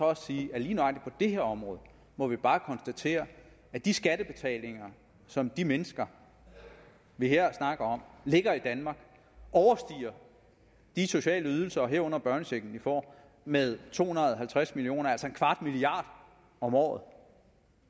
også sige at lige nøjagtig her område må vi bare konstatere at de skattebetalinger som de mennesker vi her snakker om lægger i danmark overstiger de sociale ydelser herunder børnechecken de får med to hundrede og halvtreds million kr altså en kvart milliard om året